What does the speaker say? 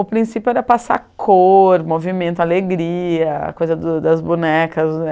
O princípio era passar cor, movimento, alegria, coisa das das bonecas.